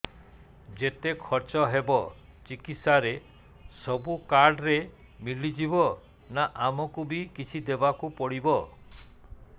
ଯେତେ ଖର୍ଚ ହେବ ଚିକିତ୍ସା ରେ ସବୁ କାର୍ଡ ରେ ମିଳିଯିବ ନା ଆମକୁ ବି କିଛି ଦବାକୁ ପଡିବ